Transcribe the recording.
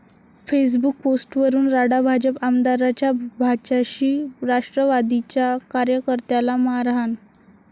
Facebook पोस्टवरून राडा, भाजप आमदाराच्या भाच्याची राष्ट्रवादीच्या कार्यकर्त्याला मारहाण